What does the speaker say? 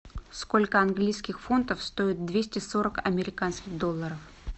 сколько английских фунтов стоят двести сорок американских долларов